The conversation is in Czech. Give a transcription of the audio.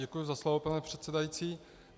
Děkuji za slovo, pane předsedající.